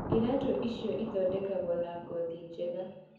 Iratu ici ithoeketwo na ngothi njega.